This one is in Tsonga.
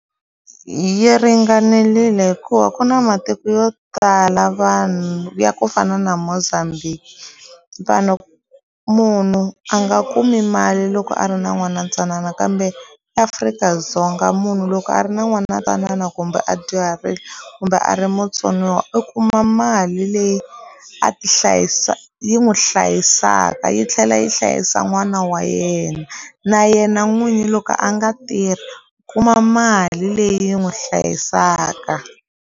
Yi ringanelile hikuva ku na matiko yo tala vanhu ya ku fana na Mozambique vanhu munhu a nga kumi mali loko a ri na n'wana ntsanana kambe eAfrika-Dzonga munhu loko a ri na n'wana twanana kumbe a dyuharile kumbe a ri mutsoniwa u kuma mali leyi a ti hlayisa yi n'wi hlayisaka yi tlhela yi hlayisa n'wana wa yena na yena n'winyi loko a nga tirhi u kuma mali leyi n'wi hlayisaka.